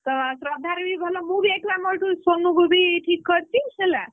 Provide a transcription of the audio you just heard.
ତ ଶ୍ରଦ୍ଧାର ବି ଭଲ ମୁଁ ବି ଏଠୁ ଆମର ଏଠୁ ସୋନୁ କୁ ବି ଠିକ କରିଛି ହେଲା।